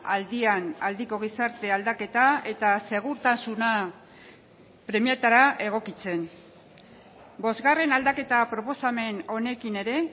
aldian aldiko gizarte aldaketa eta segurtasuna premietara egokitzen bosgarren aldaketa proposamen honekin ere